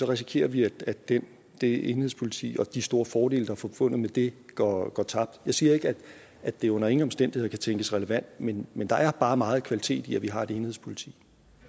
risikerer vi at det det enhedspoliti og de store fordele der er forbundet med det går tabt jeg siger ikke at det under ingen omstændigheder kan tænkes relevant men men der er bare meget kvalitet i at vi har et enhedspoliti